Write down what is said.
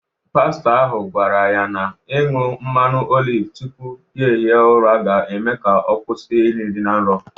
Pastọ ahụ gwara ya na ịñụ mmanụ oliv tupu ya hie ụra ga-eme ka ọ kwụsị iri nri na nrọ.